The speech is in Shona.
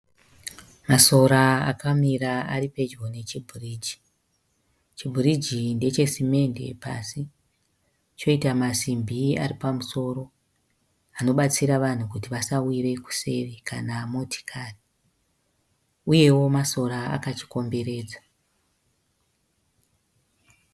Masora akamira aripedyo nechibhiriji. Chimbiriji ndeche simende pasi choita masimbi aripamusoro anobataira vanhu kuti vanhu vasawire kuseri kana motikari. Uyewo masora akachikomberedza.